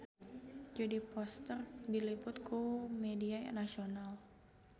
Jodie Foster diliput ku media nasional